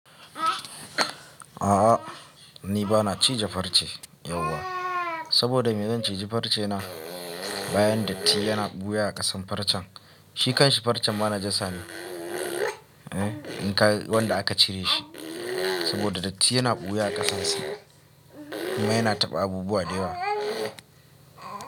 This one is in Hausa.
A'a ni bana cije farce yauwa. Saboda me, zan cije farce na, bayan datti yana ɓuya a ƙasan farcen. Shikan shi farcen ma najasa ne, in ka wanda aka cire shi. Saboda datti yana ɓuya a ƙasan sa kuma yana taɓa abubuwa da yawa.